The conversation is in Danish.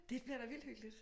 Det bliver da vildt hyggeligt